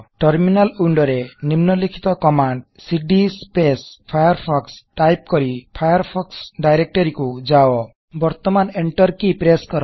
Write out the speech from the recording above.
terminal window ରେ ନିମ୍ନଲିଖିତ command CD Firefox type କରି ଫାୟାରଫୋକ୍ସ ଡାଇରେକ୍ଟରୀ କୁ ଯାଅ ବର୍ତମାନ ଏଣ୍ଟର କି ପ୍ରେସ୍ସ୍ କର